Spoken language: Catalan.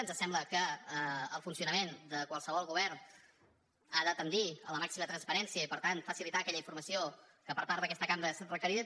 ens sembla que el funcionament de qualsevol govern ha de tendir a la màxima transparència i per tant facilitar aquella informació que per part d’aquesta cambra és requerida